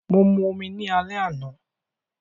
Mo mu omi ni alẹ́ àná